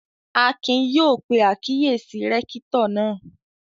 Akin yóò pe àkíyèsí rẹ́kítọ̀ náà